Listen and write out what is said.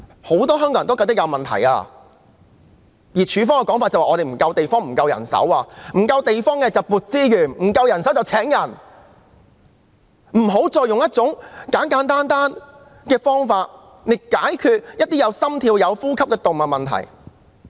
如果沒有足夠地方便應增撥資源，沒有足夠人手便應增聘人手，不要再用一種簡單的方法來解決一些還有心跳及呼吸的動物的問題。